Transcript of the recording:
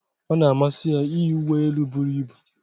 ọ na-amasị ya iyi uwe elu buru ibu